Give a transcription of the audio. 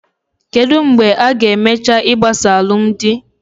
Kedụ mgbe a-ga emecha igbasa alụmdi?